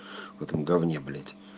в этом гавне блеать